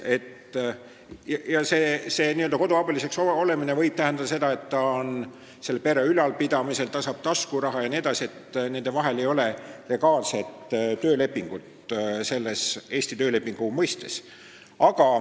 Koduabiliseks olemine võib tähendada seda, et ta on pere ülalpidamisel, ta saab taskuraha jne, aga nende vahel ei ole legaalset töölepingut Eesti töölepingu mõistes.